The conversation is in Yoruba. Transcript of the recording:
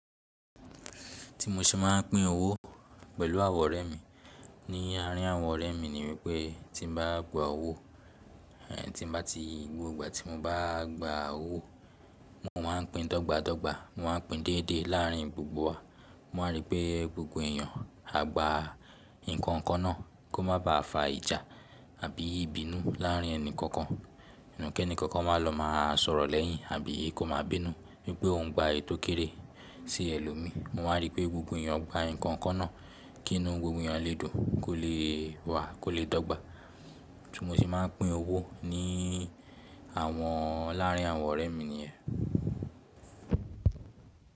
Tí mo ṣe máa ń pín owó pẹ̀lú àwọn ọ̀rẹ́ mi ni àárín àwọn ọ̀rẹ́ mi ni wípẹ́ tí mo bá gba owó, tí mo bá ti, gbogbo ìgbà tí mo bá gba owó, mo máa ń pín dọ́gba dọ́gba, mo máa ń pín déédé láàrín gbogbo wa. Mo máa rí pé gbogbo èèyàn a gba nǹkan kan náà kó má ba à fa ìjà àbí ìbínú láàrín ẹnì kankan. Kí ẹni kankan má lọ máa sọ̀rọ̀ lẹ́yìn, àbí kó máa bínú wípé òuń gba èyi to kéré sí ẹ lómí. Mo máa rí pé gbogbo èèyàn gba nǹkan kan náà, kí inú gbogbo èèyàn lé dùn kó lè wàá, kó lè dọ́gba. Tí mo ṣe máa ń pín owó láàrín àwọn ọ̀rẹ́ mi nìyẹn.